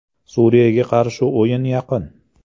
Suriyaga qarshi o‘yin yaqin.